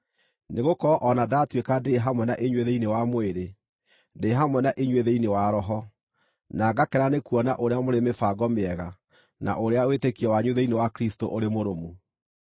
Nĩgũkorwo o na ndatuĩka ndirĩ hamwe na inyuĩ thĩinĩ wa mwĩrĩ, ndĩ hamwe na inyuĩ thĩinĩ wa roho, na ngakena nĩkuona ũrĩa mũrĩ mĩbango mĩega, na ũrĩa wĩtĩkio wanyu thĩinĩ wa Kristũ ũrĩ mũrũmu.